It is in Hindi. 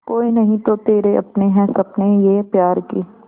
कोई नहीं तो तेरे अपने हैं सपने ये प्यार के